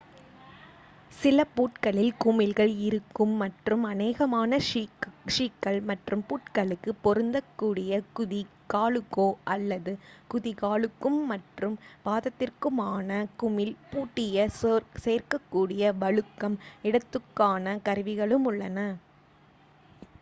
சில பூட்களில் குமிழ்கள் இருக்கும் மற்றும் அநேகமான ஷூக்கள் மற்றும் பூட்களுக்கு பொருந்தக் கூடிய குதி காலுக்கோ அல்லது குதிகாலுக்கும் மற்றும் பாதத்திற்குமான குமிழ் பூட்டிய சேர்க்கக் கூடிய வழுக்கும் இடத்துக்கான கருவிகளும் உள்ளன